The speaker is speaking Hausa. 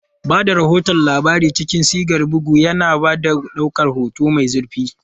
Ba da rahoton labarai cikin sigar bugu, yana ba da ɗaukar hoto mai zurfi.